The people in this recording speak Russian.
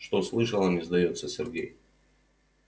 что слышала не сдаётся сергей